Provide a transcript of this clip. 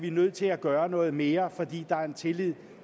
er nødt til at gøre noget mere fordi der er en tillid